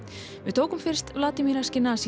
við tókum fyrst Vladimir